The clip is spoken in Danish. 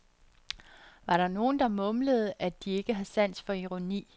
Var der nogen der mumlede, at de ikke har sans for ironi.